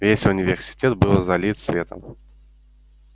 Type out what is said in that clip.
весь университет был залит светом